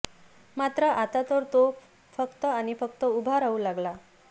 मात्र आता तर तो फक्त आणि फक्त उभं राहू लागला